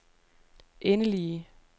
endelige